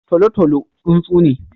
Tolotolo tsuntsu ne.